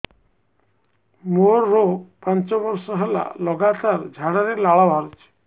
ମୋରୋ ପାଞ୍ଚ ବର୍ଷ ହେଲା ଲଗାତାର ଝାଡ଼ାରେ ଲାଳ ବାହାରୁଚି